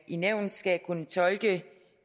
i nævnet skal kunne tolke